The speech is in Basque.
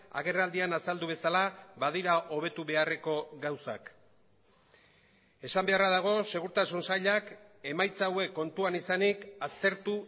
agerraldian azaldu bezala badira hobetu beharreko gauzak esan beharra dago segurtasun sailak emaitza hauek kontuan izanik aztertu